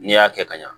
N'i y'a kɛ ka ɲa